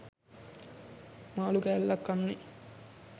මාළු කෑල්ලක් කන්නේ.